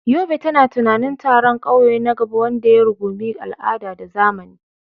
Yobe tana tunanin taron ƙauye na gaba wanda ya rungumi al'ada da zamani.